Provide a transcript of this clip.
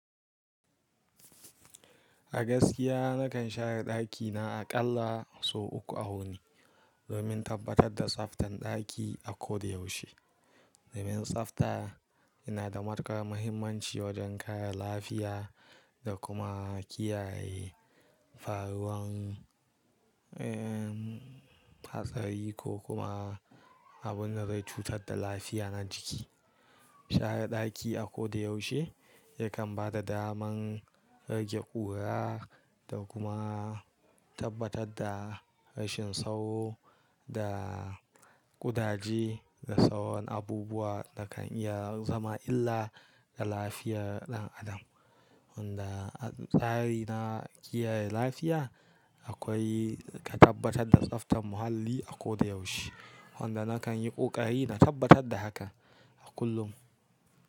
A gaskiya nakan share ɗakina aƙalla sau uku a wuni domin tabbatar da tsaftan ɗaki a koda yaushe. Domin tsafta yana da matukar muhimmanci wajen kare lafiya da kuma kiyaye faruwan, eh, hatsari ko kuma abunda zai cutar da lafiya na jiki. Share ɗaki a koda yaushe yakan bada daman rage ƙura da kuma tabbatar da rashin sauro da ƙudaje da sauran abubuwa da kan iya zama illa ga lafiyar ɗan adam. Wanda a tsari na kiyaye lafiya akwai ka tabbatar da tsaftan muhalli a koda yaushe. Wanda nakan yi ƙoƙari na tabbatar da haka a kullum.